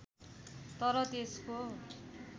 तर त्यसको